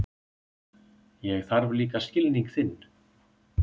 Ég þarf líka skilning þinn.